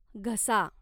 घसा